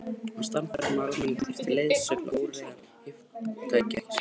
Hann var sannfærður um að almenningur þyrfti leiðsögn til að óreiðan yfirtæki ekki samfélagið.